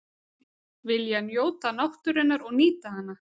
Vilja njóta náttúrunnar og nýta hana